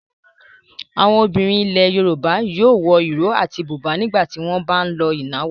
Àwọn obìnrin ilẹ̀ Yorùbá yóò wọ ìró àti bùbá nígbà tí wọ́n bá ń lọ ìnáwó.